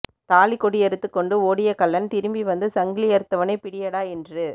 தாலிகொடிய்றுத்துக் கொண்டு ஓடிய கள்ளன் திரும்பி வந்து சங்கிலியறுத்தவனைப் பிடியடா என்று